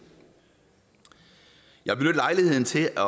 jeg vil benytte lejligheden til at